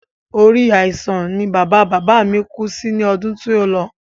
Orí àìsàn ni bàba bàbá mi kú sí ní ọdún tí o lọ